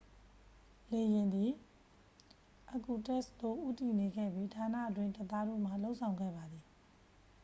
လေယာဉ်သည် irkutsk သို့ဦးတည်နေခဲ့ပြီး ဌာနတွင်းတပ်သားတို့မှ လုပ်ဆောင်ခဲ့ပါသည်